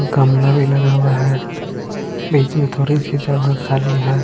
गमला भी लगा हुआ है बीच मे थोड़ी सी जगह खाली है।